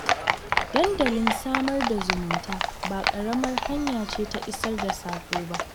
Dandalin sada zumunta ba ƙaramar hanya ce ta isar da saƙo ba